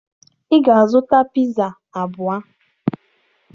Ị ga-azụta piza abụọ